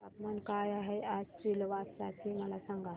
तापमान काय आहे आज सिलवासा चे मला सांगा